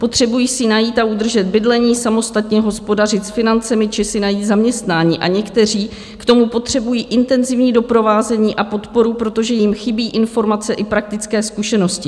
Potřebují si najít a udržet bydlení, samostatně hospodařit s financemi či si najít zaměstnání a někteří k tomu potřebují intenzivní doprovázení a podporu, protože jim chybí informace i praktické zkušenosti.